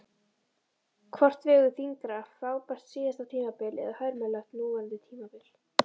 Hvort vegur þyngra, frábært síðasta tímabil eða hörmulegt núverandi tímabil?